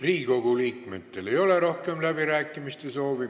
Riigikogu liikmetel ei ole rohkem läbirääkimise soovi.